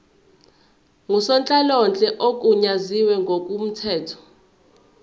ngusonhlalonhle ogunyaziwe ngokomthetho